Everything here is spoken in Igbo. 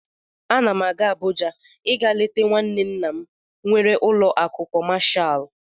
Ana m aga Abuja ịga leta nwanne nna m nwere ụlọ akụ kọmashal.